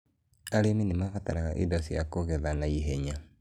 Arĩmi nĩ mabataraga indo cia kũgetha na ihenya.